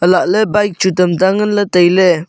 lahle bike chu tam ta ngan la taile.